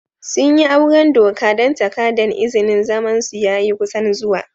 Sun yi auren doka dan takadan izinin zaman su ya yi kusan zuwa.